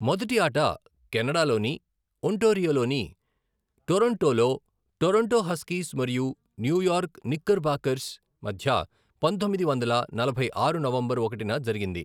మొదటి ఆట కెనడాలోని ఒంటారియోలోని టొరంటోలో, టొరంటో హస్కీస్ మరియు న్యూయార్క్ నిక్కర్బాకర్స్ మధ్య పంతొమ్మిది వందల నలభై ఆరు నవంబరు ఒకటిన జరిగింది.